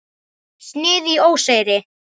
Snið í óseyri.